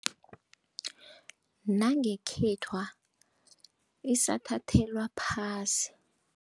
Nangekhethwa isathathelwa phasi.